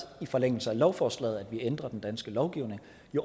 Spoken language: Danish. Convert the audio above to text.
i forlængelse af lovforslaget at vi ændrer den danske lovgivning